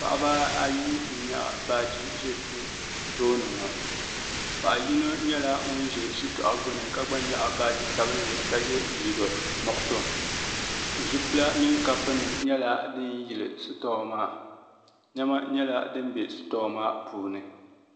paɣaba ayi n-nyaɣi baaji n-ʒe tooni ŋɔ paɣa yino nyɛla ŋun ʒe shitɔɣu gbunni ka gba nyaɣi baaji Sabinli ka ye liiga nuɣisɔ zupila mini kapunima nyɛla din yeli shitɔɔ maa nema nyɛla din be shitɔɔ maa.